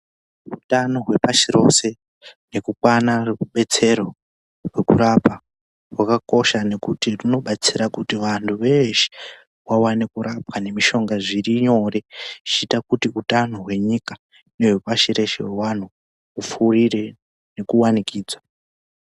Utano hwepashi reshe nekuona rudetsero rwekurapwa, rwakakosha ngekuti runodetsera kuti vanthu veeshe vaone kurapwa nemishonga zviri nyore. Zveiita kuti utano hwenyika, nehwe pashi reshe hupfurire nekuwanikidzwa.